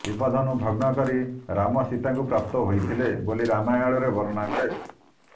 ଶିବ ଧନୁ ଭଗ୍ନ କରି ରାମ ସୀତାଙ୍କୁ ପ୍ରାପ୍ତ ହୋଇଥିଲେ ବୋଲି ରାମାୟଣରେ ବର୍ଣ୍ଣନା ମିଳେ